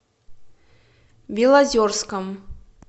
белозерском